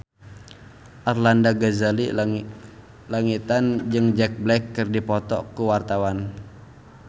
Arlanda Ghazali Langitan jeung Jack Black keur dipoto ku wartawan